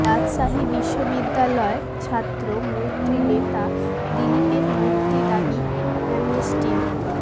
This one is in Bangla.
রাজশাহী বিশ্ববিদ্যালয় ছাত্র মৈত্রী নেতা দিলীপের মুক্তি দাবি অ্যামনেস্টির